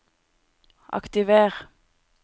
aktiver